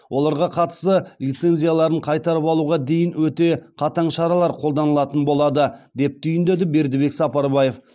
оларға қатысты лицензияларын қайтарып алуға дейін өте қатаң шаралар қолданылатын болады деп түйіндеді бердібек сапарбаев